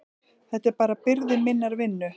Þetta er bara byrði minnar vinnu.